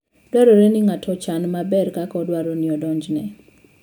Dwarore ni ng'ato ochan maber kaka odwaro ni odonjne.